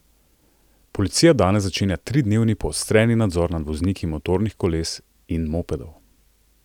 Policija danes začenja tridnevni poostreni nadzor nad vozniki motornih koles in mopedov.